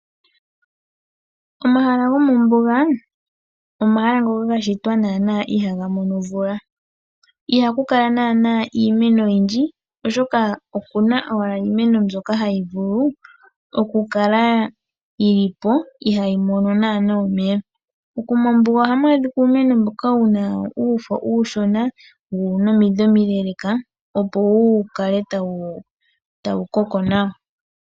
Omahala gomombuga omahala ngoka gashitwa nana ihaga mono omvula ,iha ku kala nana iimeno oyindji oshoka okuna owala iimeno mbyoka hayi vulu okukala yi lipo ihayi mono nana omeya. Mombuga ohamu adhika uumeno mboka wuna uufo uushona wo owuna omiidhi omiileleka opo wu kale tawu koko nawa.